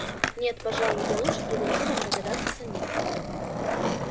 нет пожалуй я лучше предложу вам догадаться самим